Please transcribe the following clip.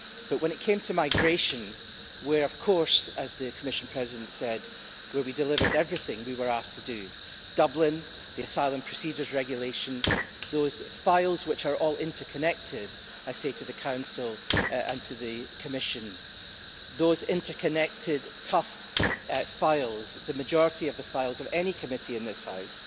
But when it came to migration where of course, as the Commission President said, we delivered everything we were asked to do Dublin, the Asylum Procedures regulation, those files which are all interconnected I say to the Council and to the Commission, those interconnected tough files the majority of the files of any committee in this House